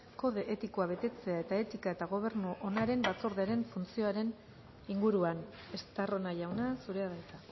kode etikoa betetzea eta etika eta gobernu onaren batzordearen funtzioaren inguruan estarrona jauna zurea da hitza